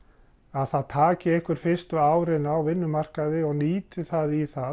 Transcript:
að það taki einhver fyrstu árin á vinnumarkaði og nýti það í það